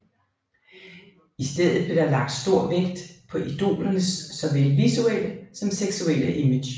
I stedet blev der lagt stor vægt på idolernes såvel visuelle som seksuelle image